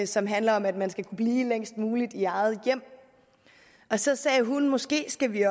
som handler om at man skal kunne blive længst muligt i eget hjem så sagde hun måske skal vi